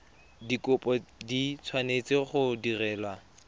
dikopo di tshwanetse go direlwa